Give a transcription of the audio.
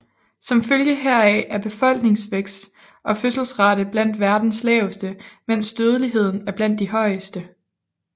Som følge heraf er befolkningsvækst og fødselsrate blandt verdens laveste mens dødeligheden er blandt de højeste